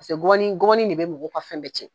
Paseke gɔbɔni gɔbɔni de be mɔgɔ ka fɛn bɛɛ cɛn.